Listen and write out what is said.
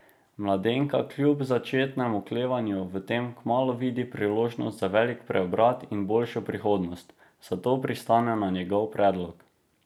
Mladenka kljub začetnemu oklevanju v tem kmalu vidi priložnost za velik preobrat in boljšo prihodnost, zato pristane na njegov predlog.